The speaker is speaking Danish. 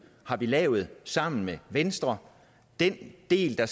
har vi lavet sammen med venstre den del der